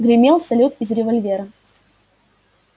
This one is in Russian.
гремел салют из револьвера